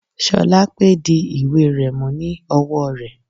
Sholape di ìwé rẹ̀ mú ní ọwọ́ rẹ̀.